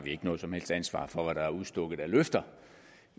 ikke noget som helst ansvar for hvad der er udstukket af løfter